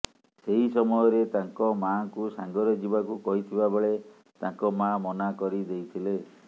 ସେହି ସମୟରେ ତାଙ୍କ ମାଁଙ୍କୁ ସାଙ୍ଗରେ ଯିବାକୁ କହିଥିବା ବେଳେ ତାଙ୍କ ମା ମନା କରିଦେଇଥିଲେ